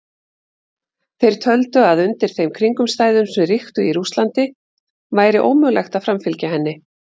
Þeir töldu að undir þeim kringumstæðum sem ríktu í Rússlandi væri ómögulegt að framfylgja henni.